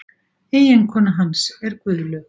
Eiginkona hans er Guðlaug